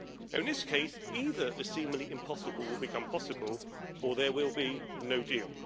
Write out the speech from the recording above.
In this case, either the seemingly impossible will become possible, or there will be no deal.